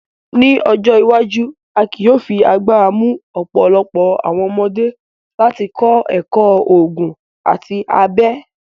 Ni ojo iwaju, a ki yóò fi agbara mu ọpọlọpọ awọn ọmọde lati kọ ẹkọ oogun ati abẹ